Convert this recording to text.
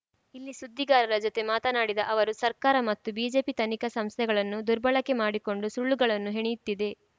ಇಲ್ಲಿ ಸುದ್ದಿಗಾರರ ಜೊತೆ ಮಾತನಾಡಿದ ಅವರು ಸರ್ಕಾರ ಮತ್ತು ಬಿಜೆಪಿ ತನಿಖಾ ಸಂಸ್ಥೆಗಳನ್ನು ದುರ್ಬಳಕೆ ಮಾಡಿಕೊಂಡು ಸುಳ್ಳುಗಳನ್ನು ಹೆಣೆಯುತ್ತಿದೆ